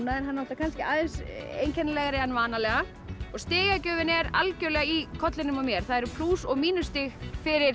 er kannski aðeins einkennilegri en vanalega og stigagjöfin er algjörlega í kollinum á mér það eru plús og mínus stig fyrir